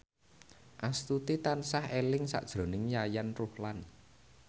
Astuti tansah eling sakjroning Yayan Ruhlan